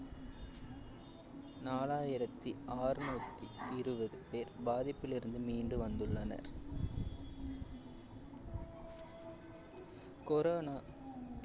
நாலாயிரத்தி ஆறுநூத்தி இருவது பேர் பாதிப்பிலிருந்து மீண்டு வந்துள்ளனர் corona